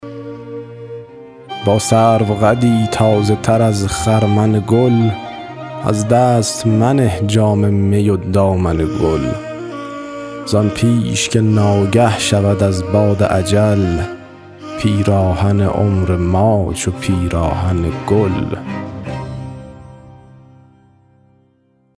با سرو قدی تازه تر از خرمن گل از دست منه جام می و دامن گل زان پیش که ناگه شود از باد اجل پیراهن عمر ما چو پیراهن گل